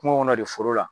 Kungo kɔnɔ de foro la